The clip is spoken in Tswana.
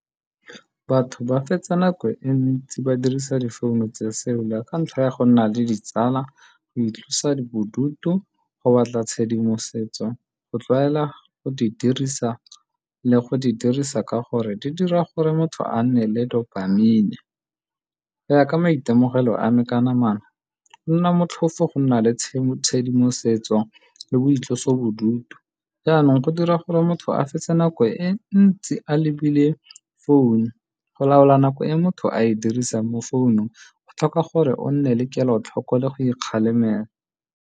Batho ba fetsa nako e ntsi ba dirisa difounu tse ka ntlha ya go nna le ditsala, go itlosa bodutu, go batla tshedimosetso, go tlwaela go di dirisa, le go di dirisa ka gore di dira gore motho a nne le dopamine. Go ya ka maitemogelo a me ka namana, go nna motlhofo go nna le tshedimosetso le boitlosobodutu. Jaanong go dira gore motho a fetse nako e ntsi a lebile founu. Go laola nako e motho a e dirisang mo founung go tlhoka gore o nne le kelotlhoko le go ikgalemela.